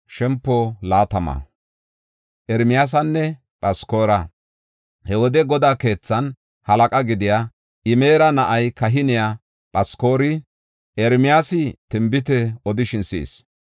He wode Godaa keethaanne halaqa gidiya, Imera na7aa kahiniya Phaskori Ermiyaasi tinbite odishin si7is.